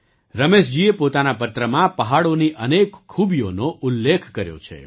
રમેશજીએ પોતાના પત્રમાં પહાડોની અનેક ખૂબીઓનો ઉલ્લેખ કર્યો છે